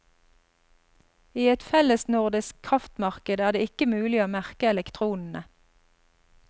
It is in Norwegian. I et fellesnordisk kraftmarked er det ikke mulig å merke elektronene.